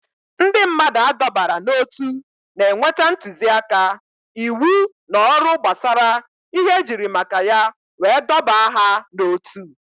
Ndị mmadụ adọbara n'ótú na-enweta ntụzịaka, íwú na ọrụ gbasara ihe ejiri maka ya wee dọbaa ha n'otu